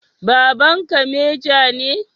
Babanka meja ne?